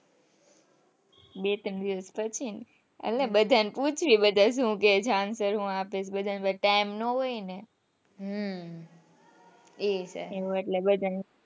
બે ત્રણ દિવસ પછી એટલે બધાને પૂછીશ બધા સુ કે જાણ કરીયે આપણે તો બધા ને Time ના હોય ને હમ એવું એટલે બધા,